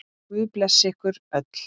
Guð blessi ykkur öll.